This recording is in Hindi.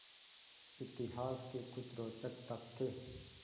इतिहास के कुछ रोचक तथ्य